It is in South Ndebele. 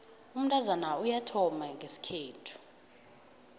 umntazana uyathomba ngesikhethu